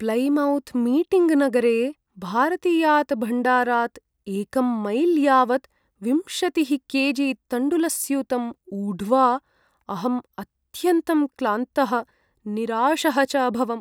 Plymouth Meeting नगरे भारतीयात् भण्डारात् एकं मैल् यावत् विंशतिः के जि तण्डुलस्यूतं ऊढ्वा अहम् अत्यन्तं क्लान्तः, निराशः च अभवम्।